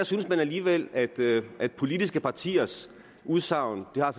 synes man alligevel at at politiske partiers udsagn har